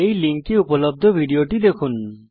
এই লিঙ্কে উপলব্ধ ভিডিওটি দেখুন